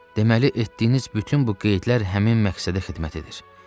Deməli etdiyiniz bütün bu qeydlər həmin məqsədə xidmət edir.